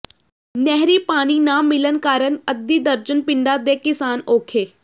ਨਹਿਰੀ ਪਾਣੀ ਨਾ ਮਿਲਣ ਕਾਰਨ ਅੱਧੀ ਦਰਜਨ ਪਿੰਡਾਂ ਦੇ ਕਿਸਾਨ ਔਖੇ